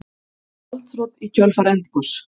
Gjaldþrot í kjölfar eldgoss